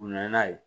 U nana n'a ye